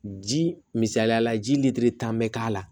Ji misaliyala ji lili kan bɛ k'a la